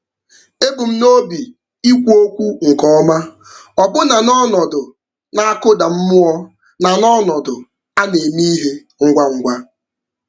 Ebu m n'obi ikwu okwu nke ọma, ọbụna n'ọnọdụ na-akụda mmụọ na n'ọnọdụ a na-eme ihe ngwa ngwa.